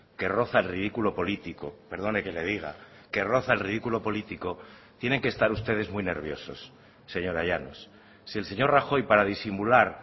que roza el ridículo político perdone que le diga que roza el ridículo político tienen que estar ustedes muy nerviosos señora llanos si el señor rajoy para disimular